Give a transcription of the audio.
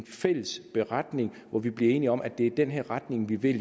fælles beretning hvori vi bliver enige om at det er i den her retning vi vil